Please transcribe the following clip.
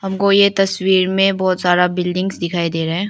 हमको ये तस्वीर में बहुत सारा बिल्डिंग्स दिखाई दे रहा है।